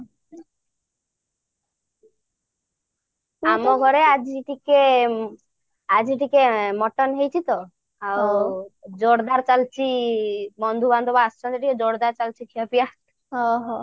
ଆମ ଘରେ ଆଜି ଟିକେ ଆଜି ଟିକେ mutton ହେଇଛି ତ ଆଉ ଜୋରଦାର ଚାଲିଛି ଆଉ ବନ୍ଧୁ ବାନ୍ଧବ ଆସିଛନ୍ତି ଟିକେ ଜୋରଦାର ଚାଲିଛି ଖିଆପିଆ